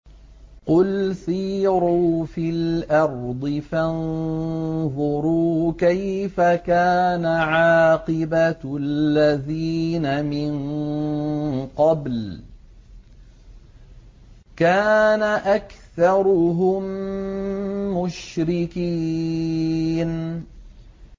قُلْ سِيرُوا فِي الْأَرْضِ فَانظُرُوا كَيْفَ كَانَ عَاقِبَةُ الَّذِينَ مِن قَبْلُ ۚ كَانَ أَكْثَرُهُم مُّشْرِكِينَ